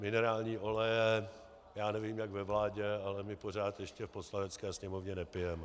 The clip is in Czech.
Minerální oleje, já nevím jak ve vládě, ale my pořád ještě v Poslanecké sněmovně nepijeme.